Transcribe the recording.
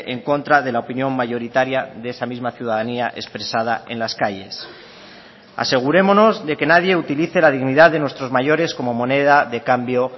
en contra de la opinión mayoritaria de esa misma ciudadanía expresada en las calles asegurémonos de que nadie utilice la dignidad de nuestros mayores como moneda de cambio